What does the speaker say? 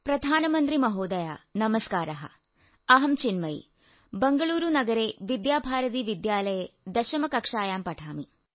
പ്രധാനമന്ത്രി മഹോദയ നമസ്കാരഃ അഹം ചിന്മയി ബംഗളൂരു നഗരേ വിദ്യാഭാരതീ വിദ്യാലയേ ദശമ കക്ഷായാം പഠാമി